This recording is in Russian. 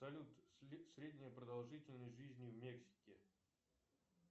салют средняя продолжительность жизни в мексике